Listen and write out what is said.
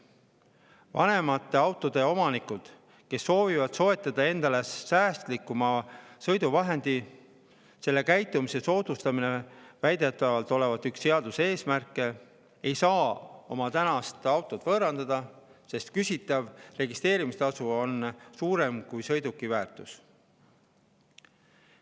Vanemate autode omanikud, kes soovivad soetada endale säästlikuma sõiduvahendi – sellise käitumise soodustamine olevat väidetavalt üks seaduse eesmärke – ei saa oma tänast autot võõrandada, sest küsitav registreerimistasu on suurem kui sõiduki väärtus.